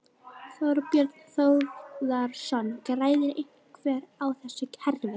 Þorbjörn Þórðarson: Græðir einhver á þessu kerfi?